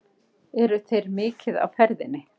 Eru þeir mikið á ferðinni?